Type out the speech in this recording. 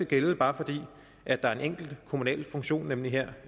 gælde bare fordi der er en enkelt kommunal funktion nemlig her